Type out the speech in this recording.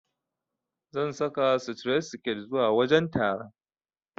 Zan saka sitiret siket zuwa wajen taron.